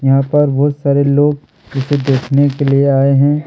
यहां पर बहुत सारे लोग थियेटर देखने के लिए आए हैं।